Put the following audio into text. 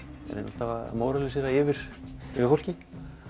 alltaf að móralisera yfir fólki